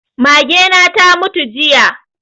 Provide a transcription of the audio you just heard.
Mage na ta mutu jiya